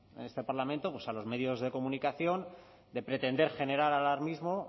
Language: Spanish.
este parlamento pues a los medios de comunicación de pretender generar alarmismo